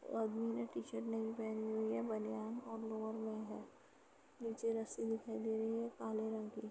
वो आदमी ने टीशर्ट नहीं पहनी हुई है बनियान और लोअर में है। नीचे रस्सी दिखाई दे रही है काले रंग की।